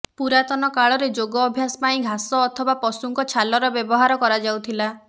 ପୁରାତନ କାଳରେ ଯୋଗ ଅଭ୍ୟାସ ପାଇଁ ଘାସ ଅଥବା ପଶୁଙ୍କ ଛାଲର ବ୍ୟବହାର କରାଯାଉଥିଲା